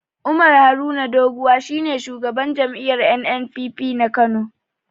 Umar Haruna Doguwa shi ne shugaban jam'iyyar NNPP na Kano.